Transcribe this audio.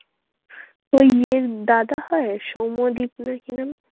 তো ইয়ের দাদা হয় সৌম্যদীপ না কি নাম?